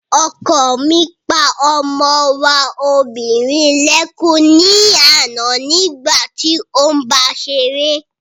Ọkọ mi pa ọmọ wa obìnrin lẹ́kún ní àná nígbà tí óún báa ṣeré